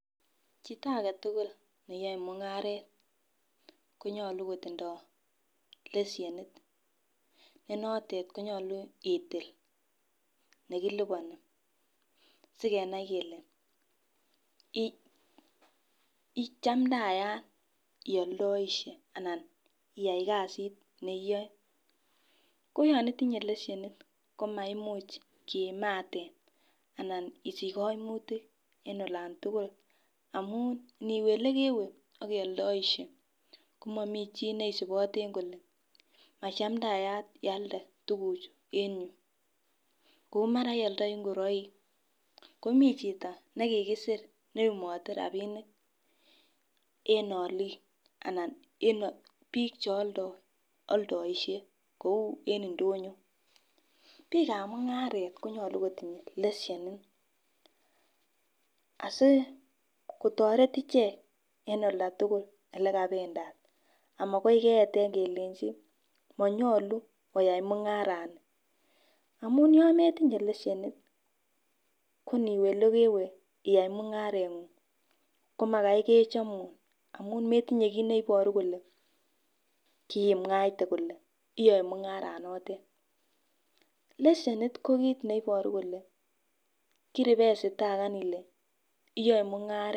Chito agetukul neyoe mung'aret konyolu kotindo leshenit nenotet konyolu itil nekiliponi sikenai kele ichamdaya ioldoishe anan iyai kasit ne iyoe. Ko yon itinye leshen komaimuch kiamaten anan isich koimutik en olon tukuk amun niwe yekeww ak ioldoishe komomii chii nisiboten kole machandayat Ialde tukuk chuu en yuu. Kou mara iodoyotii ingoroik komii chito nekikisir neiyumote rabinik en olik anan en bik cheoldoishe kou en indonyo. Bikab mung'aret konyolu kotinye leshenit asikotoret ichek en olda tukul ole kopendat amokoi keyeten kelenji monyolu koyai mung'aret amun yon metinyee leshenit ko niweyekeww iyai mung'areng'ung' kimakai kechomun amun matinye kit neboru kole kiimwaite kole iyoe mung'aranotet . Leshenit ko kit neiboru kole kiribesitaka Ile iyoe mung'aret.